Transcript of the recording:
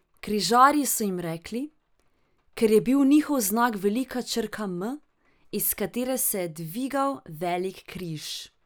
Križarji so jim rekli, ker je bil njihov znak velika črka M, iz katere se je dvigal velik križ.